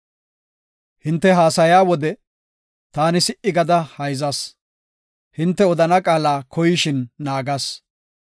Hinte haasaya wode, taani si77i gada hayzas; hinte odana qaala koyishin naagas.